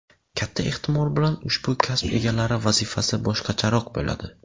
Katta ehtimol bilan, ushbu kasb egalari vazifasi boshqacharoq bo‘ladi.